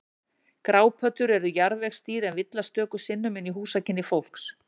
Grápöddur eru jarðvegsdýr en villast stöku sinnum inn í húsakynni fólks.